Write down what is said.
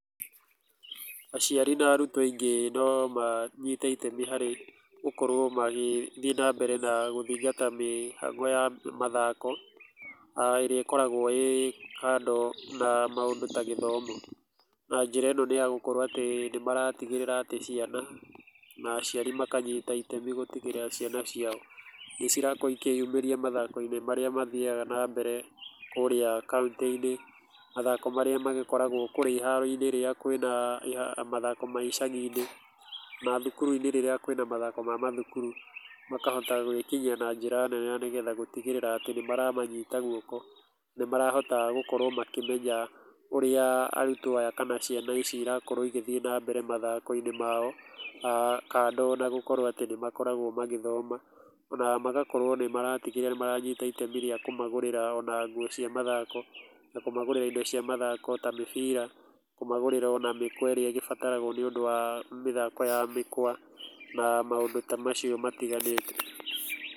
Aciari na arutwo aingĩ no manyite itemi harĩ gũkorwo magĩthiĩ na mbere na gũthingata mĩhang'o ya mathako, aah ĩrĩa ĩkoragwo ĩrĩ kando na maũndũ ta gĩthomo, na njĩra ĩyo nĩ ya gũkorwo atĩ nĩ matigĩrĩra ciana na aciari makanyita itemi itemi na gũtigĩrĩra atĩ ciana ciao, nĩ cirakorwo ikĩyumĩria mathakoinĩ marĩa mathiaga na mbere kũrĩa kaũntĩ-inĩ, mathako marĩa ma gĩkoragwo kũrĩa iharo-inĩ rĩrĩa kwĩna mathako ma icagi-inĩ na thukuru-inĩ rĩrĩa kwĩna mathako ma thukuru makahota gwĩkinyia na njĩra nene nĩgetha gũtigĩrĩra atĩ nĩ maramanyita guoko, nĩ marahota gũkorwo makĩmenya ũrĩa arutwo aya kana ciana ici irakorwo igĩthiĩ na mbere mathakoinĩ mao aah kando na gũkorwo atĩ nĩ makoragwo magĩthoma na gũkorwo nĩ maratigĩrĩra nĩ maranyita itemi rĩa kumagũrĩra ona nguo cia mathako na kũmagũrĩra indo cia mathako ta mĩbira, kũmagũrĩra ona mĩkwa ĩrĩa ĩgĩbataragwo nĩ ũndũ wa mĩthako wa mĩkwa na maũndũ ta macio matiganĩte.